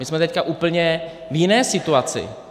My jsme teď v úplně jiné situaci.